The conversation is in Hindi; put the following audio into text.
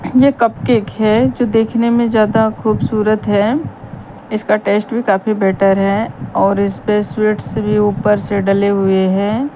ये कप केक है जो देखने में ज्यादा खूबसूरत हैं इसका टेस्ट भी काफी बेटर है और इस पे स्वीट्स भी ऊपर से डले हुएं हैं।